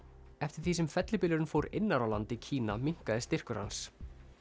eftir því sem fellibylurinn fór innar á land í Kína minnkaði styrkur hans